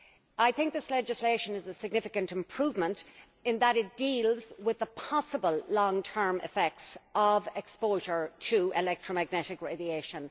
I think this legislation is a significant improvement, in that it deals with the possible long term effects of exposure to electromagnetic radiation.